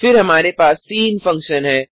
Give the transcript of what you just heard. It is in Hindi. फिर हमारे पास सिन फंकशन है